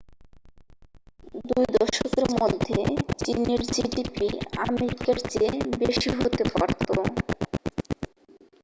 দুই দশকের মধ্যে চীনের জিডিপি আমেরিকার চেয়ে বেশি হতে পারতো